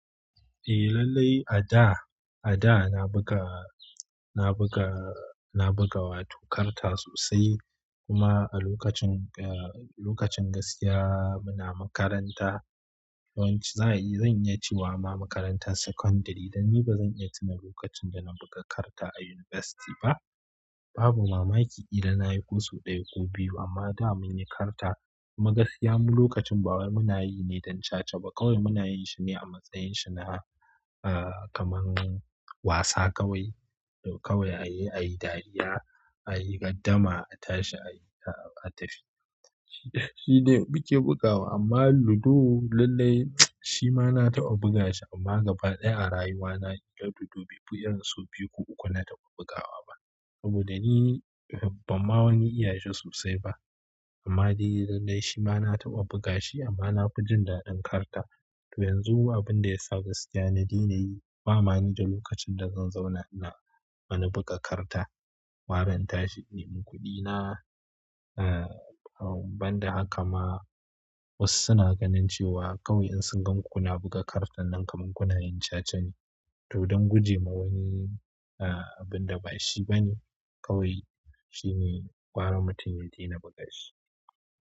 Eh lallai a da, a da na buga, na buga, na buga wato karta sosai kuma a lokacin, lokacin gaskiya muna makaranta. Yanzu za'a yi, zan iya cewa ma makarantar secondary dan ni ba zan iya tuna lokacin da na buga karta a university ba. Babu mamaki idan nayi ko sau ɗaya ko biyu amma da munyi karta, kuma gaskiya mu lokacin bawai muna yi ne don chacha ba. Kawai muna yin shine a matsayin shi na ah kaman wasa kawai. Kawai a yi, a yi dariya, a yi gardama, a tashi, a tafi. Shi, shi dai muke bugawa amma ludo lallai shi ma na taɓa buga shi amma gaba ɗaya a rayuwa na idan ludo biyu, baifi sau biyu ko uku na taɓa bugawa ba. Saboda ni ban ma wani iya shi sosai ba amma dai lallai shima na taɓa bugashi amma nafi jin daɗi karta to yanzu abinda yasa gaskiya na daina yi, ba ma ni da lokacin da zan zauna ina, wani buga karta. Gara in tashi, in nemi kuɗi na. Ah banda haka ma wasu suna ganin cewa kawai in sun ganku kuna buga kartan nan kamar kuna yin chacha ne. To don guje ma wani ah abinda ba shi bane kawai, shine gara mutum ya daina buga shi.